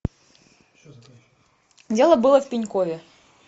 дело было в пенькове